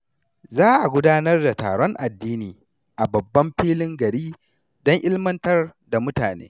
Za a gudanar da taron addini a babban filin gari don ilmantar da mutane.